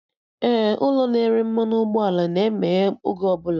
Ee, ụlọ na-ere mmanụ ụgbọ ala na-emeghe oge ọbụla